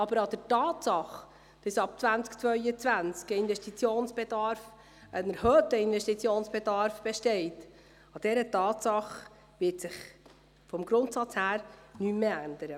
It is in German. Aber an der Tatsache, dass ab 2022 ein erhöhter Investitionsbedarf besteht, wird sich vom Grundsatz her nichts mehr ändern.